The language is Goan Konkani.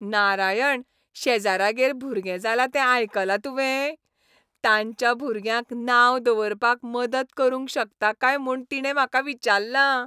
नारायण, शेजाऱ्यागेर भुरगें जालां तें आयकलां तुवें? तांच्या भुरग्याक नांव दवरपाक मदत करूंक शकता काय म्हूण तिणें म्हाका विचारलां.